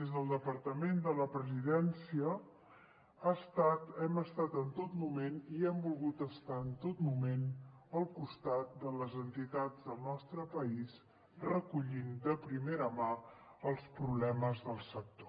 des del departament de la presidència hem estat en tot moment i hem volgut estar en tot moment al costat de les entitats del nostre país i recollir de primera mà els problemes del sector